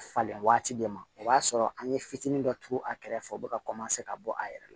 Falen waati de ma o b'a sɔrɔ an ye fitinin dɔ turu a kɛrɛfɛ u bɛ ka ka bɔ a yɛrɛ la